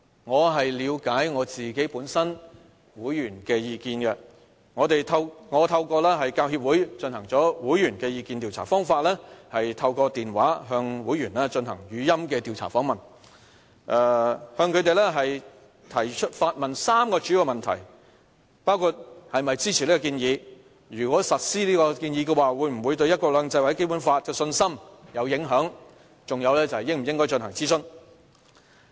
為了解會員的意見，我透過教協進行了會員意見調查，方法是透過電話向會員進行語音調查訪問，提出3個主要問題，包括是否支持此項建議、如果實施此建議的話，會否對"一國兩制"或《基本法》的信心有影響，以及應否進行諮詢？